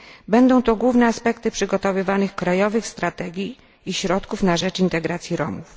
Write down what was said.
Będą to główne aspekty przygotowywanych krajowych strategii i środków na rzecz integracji Romów.